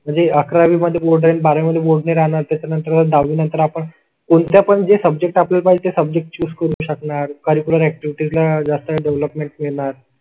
म्हणजे अकरा वी मध्ये बोर्ड आहे आणि बारावि मध्ये बोर्ड नाही राहणार, त्यानंतर नंतर दहावी नंतर आपण कोणत्या पणजी सब्जेक्ट पाहिजे सब्जेक्ट चूक करू शकणार. कॅर्रीकलर अक्टिविटी ला जास्त डेवलपमेंट मिळणार.